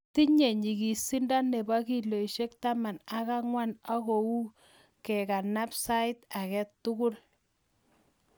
Tinye nyigisondo nep kilosishek taman ak angwan ak koui kekanap sait age tugul